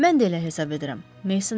Mən də elə hesab edirəm, Mason dedi.